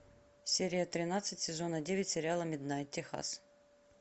серия тринадцать сезона девять сериала миднайт техас